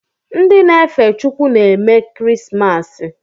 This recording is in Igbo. Ndị na-efe Chukwu na-eme kirismasi